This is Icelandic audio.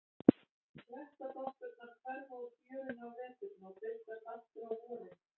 Klettadoppurnar hverfa úr fjörunni á veturna og birtast aftur á vorin.